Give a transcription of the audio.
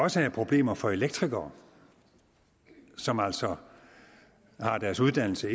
også er problemer for elektrikere som altså har deres uddannelse